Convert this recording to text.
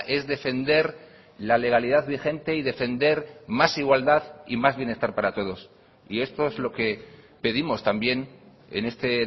es defender la legalidad vigente y defender más igualdad y más bienestar para todos y esto es lo que pedimos también en este